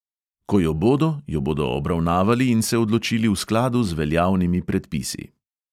Ko jo bodo, jo bodo obravnavali in se odločili v skladu z veljavnimi predpisi.